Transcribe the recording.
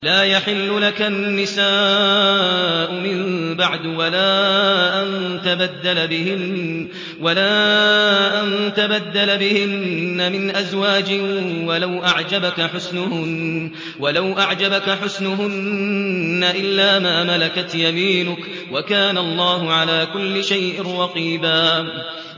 لَّا يَحِلُّ لَكَ النِّسَاءُ مِن بَعْدُ وَلَا أَن تَبَدَّلَ بِهِنَّ مِنْ أَزْوَاجٍ وَلَوْ أَعْجَبَكَ حُسْنُهُنَّ إِلَّا مَا مَلَكَتْ يَمِينُكَ ۗ وَكَانَ اللَّهُ عَلَىٰ كُلِّ شَيْءٍ رَّقِيبًا